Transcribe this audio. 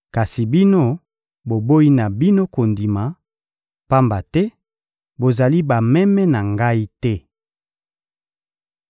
kasi bino, boboyi na bino kondima, pamba te bozali bameme na Ngai te.